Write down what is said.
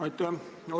Aitäh!